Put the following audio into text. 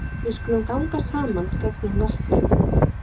Við skulum ganga saman gegnum vötnin